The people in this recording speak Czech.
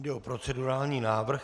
Jde o procedurální návrh.